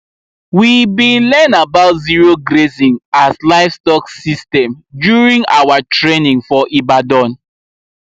we bi learn about zero grazing as livestock system during our training for ibadan